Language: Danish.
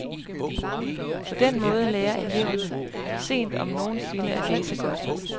På den måde lærer eleverne for sent, om nogen sinde, at læse godt.